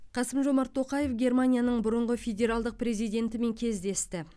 қасым жомарт тоқаев германияның бұрынғы федералдық президентімен кездесті